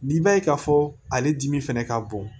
N'i b'a ye k'a fɔ ale dimi fɛnɛ ka bon